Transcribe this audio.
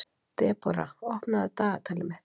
Debora, opnaðu dagatalið mitt.